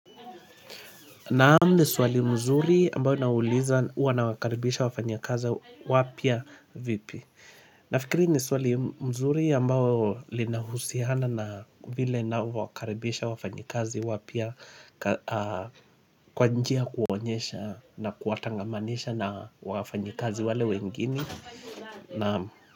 Naam, ni swali mzuri ambalo linauliza huwa nawakaribisha wafanyakazi wapya vipi. Nafikiri ni swali mzuri ambayo linahusihana na vile navyokaribisha wafanyakazi wapya kwa njia ya kuonyesha na kuwatangamanisha na wafanyikazi wale wengine. Naam.